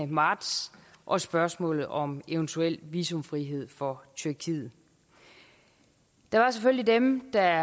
marts og spørgsmålet om eventuel visumfrihed for tyrkiet der var selvfølgelig dem der